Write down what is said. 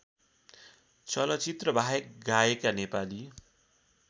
चलचित्रबाहेक गाएका नेपाली